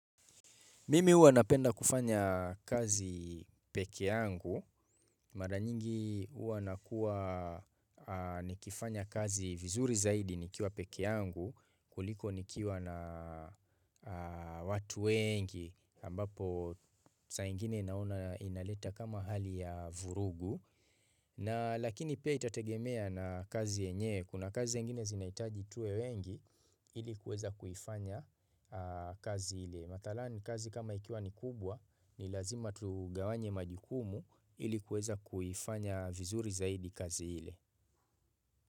Mimi huwa napenda kufanya kazi peke yangu, mara nyingi huwa nakuwa aah nikifanya kazi vizuri zaidi nikiwa peke yangu kuliko nikiwa na watu wengi ambapo saa ingine naona inaleta kama hali ya vurugu. Na lakini pia itategemea na kazi yenye, kuna kazi zingine zinahitaji tuwe wengi ili kuweza kuifanya kazi ile. Mathala ni kazi kama ikiwa ni kubwa ni lazima tugawanye majukumu ili kuweza kuifanya vizuri zaidi kazi ile.